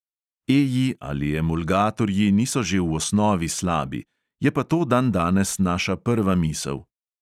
Eji ali emulgatorji niso že v osnovi slabi, je pa to dandanes naša prva misel.